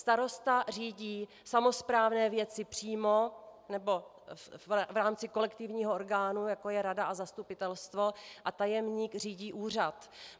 Starosta řídí samosprávné věci přímo nebo v rámci kolektivního orgánu, jako je rada a zastupitelstvo, a tajemník řídí úřad.